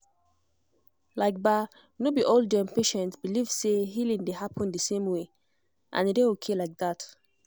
like ba no be all um patients believe say healing dey happen the same way — and e dey okay like that.